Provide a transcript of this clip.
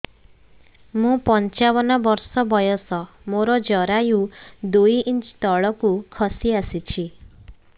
ମୁଁ ପଞ୍ଚାବନ ବର୍ଷ ବୟସ ମୋର ଜରାୟୁ ଦୁଇ ଇଞ୍ଚ ତଳକୁ ଖସି ଆସିଛି